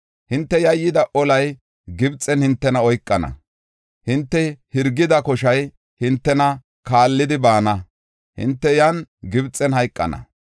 hinte yayyida olay Gibxen hintena oykana; hinte hirgida koshay hintena kaallidi baana; hinte yan Gibxen hayqana.